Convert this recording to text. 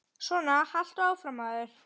Svona haltu áfram, maður!